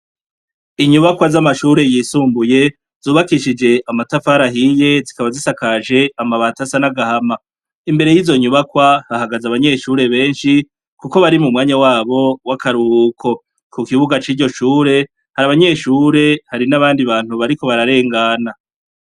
Inyubakwa zamashure yisumbuye zubaskishije amatafari ahiye zikaba zisakaje amabati asa nagahama, imbere yizo nyubakwa hahagaze abanyeshure benshi kuko bari mumwanya wabo wakaruhuko, kukibuga ciryo shuri hari abanyeshure hari nabandi bantu bariko bararengana.